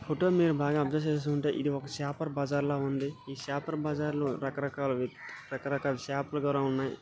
Photo మీరు బాగా observe చేసీ ఉంటే ఇధి ఒక చేపల బజార్ ల ఉంది ఈ చేపల బజార్ లో రకరకాల రకరకాల చేపలు కూడా ఉన్నాయి.